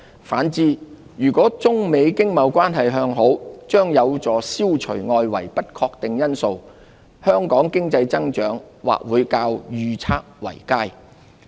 反之，如果中美經貿關係向好，將有助消除外圍的不確定性，香港經濟增長或會較預測為佳。